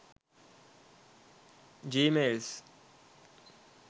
gmails